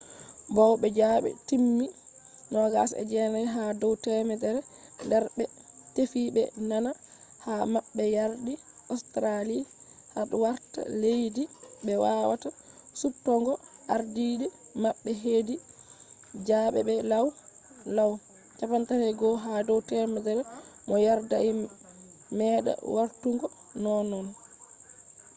bawo zabe timmi 29 ha dow temerre der be bé tefi be nana ha mabbeyardi australia hadi warta leddi be wawata suptugo ardiide mabbe hedi zabe be law-law 31 ha dow temerre bo yerdai meda wartugo nonnon